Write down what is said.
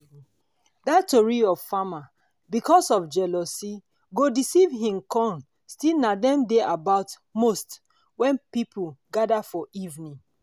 dat tori of farmer because of jealousy go deceive him corn still na dem dey about most wen people gather for evening.